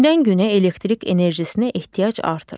Gündən-günə elektrik enerjisinə ehtiyac artır.